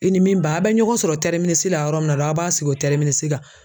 I ni min ba a bɛ ɲɔgɔn sɔrɔ la yɔrɔ min na aw b'a sigi o kan.